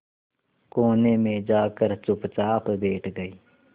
कोने में जाकर चुपचाप बैठ गई